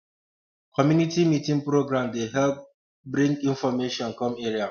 community meeting program dey dey help um bring information come area